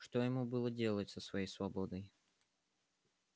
что ему было делать со своей свободой